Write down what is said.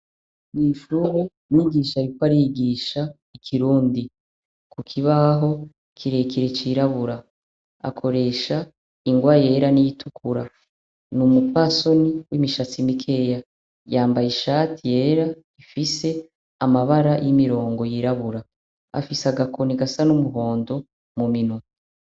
Mw'ishuru migisha bipo arigisha ikirundi ku kibaho ikirekire cirabura akoresha ingwa yera n'itukura ni umupasoni w'imishatsi mikeya yambaye ishati yera ifise amabara y'imirongo yirabura afise agakoni gaa a n'umuhondo mu minota.